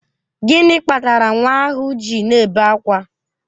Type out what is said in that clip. Gịnị kpatara nwa ahụ ji na-ebe akwa?